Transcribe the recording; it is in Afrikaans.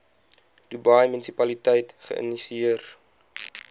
dubai munisipaliteit geïnisieer